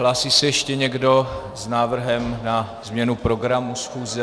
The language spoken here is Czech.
Hlásí se ještě někdo s návrhem na změnu programu schůze?